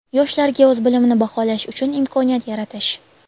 yoshlarga o‘z bilimini baholash uchun imkoniyat yaratish.